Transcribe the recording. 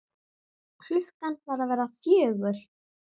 Klukkan var að verða fjögur.